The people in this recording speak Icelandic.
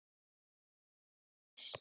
Rakel og Thomas.